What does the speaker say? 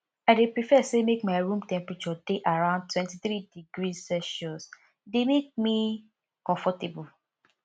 i dey prefer say make my room temperature dey around 23 degrees celsius e dey make me comfortable